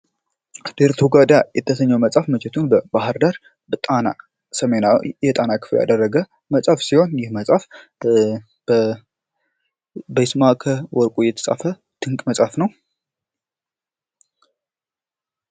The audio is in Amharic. ዴርቶጋዳ የተባለው መጽሐፍ መቼቱን በባህር ዳር ከተማ ሰሜናዊ የጣና ክፍል ያደረገ መጽሐፍ ሲሆን ይህ መጽሃፍ በይስማከ ወርቁ የተጻፈ ትልቅ መጽሐፍ ነው።